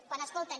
quan escolten